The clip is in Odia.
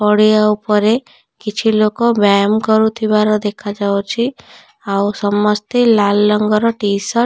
ପଡିଆ ଉପରେ କିଛି ଲୋକ ବ୍ୟୟାମ କରୁଥିବାର ଦେଖାଯାଉଅଛି। ଆଉ ସମସ୍ତେ ଲାଲ ରଙ୍ଗ ର ଟି ସାର୍ଟ --